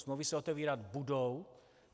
Smlouvy se otevírat budou.